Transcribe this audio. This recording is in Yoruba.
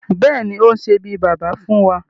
Bẹ́ẹ̀ni, òun ni ó sé bí Baba fún wa